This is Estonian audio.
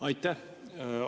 Aitäh!